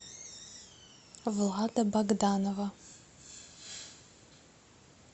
влада богданова